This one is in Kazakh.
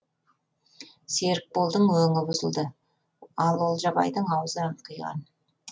серікболдың өңі бұзылды ал олжабайдың аузы аңқиған